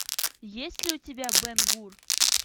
есть ли у тебя бен гур